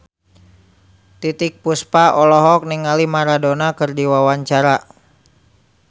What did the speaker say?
Titiek Puspa olohok ningali Maradona keur diwawancara